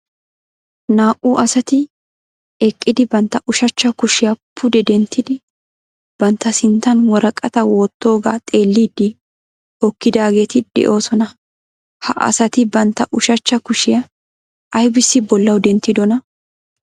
Naa"u asati eqqidi bantta ushachcha kushiya pude denttidi bantta sinttan woraqataa wottoogaa xeelliiddi hokkidaageeti de'oosona. Ha asati bantta ushachcha kushiya aybissi bollawu denttidonaa?